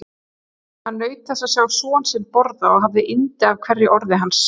Hann naut þess að sjá son sinn borða og hafði yndi af hverju orði hans.